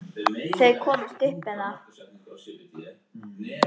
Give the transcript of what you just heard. Þau komast upp með það!